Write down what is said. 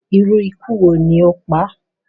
iru iku wo ni o pa a?